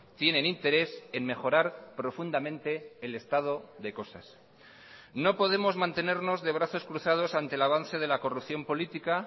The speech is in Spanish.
tienen interés en mejorar profundamente el estado de cosas no podemos mantenernos de brazos cruzados ante el avance de la corrupción política